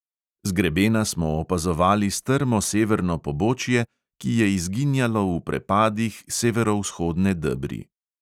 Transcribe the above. Z grebena smo opazovali strmo severno pobočje, ki je izginjalo v prepadih severovzhodne debri.